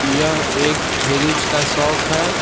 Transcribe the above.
यह एक फ्रीज का शॉप है।